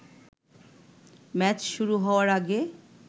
match শুরু হওয়ার আগে